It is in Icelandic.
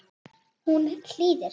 Hún hlýðir.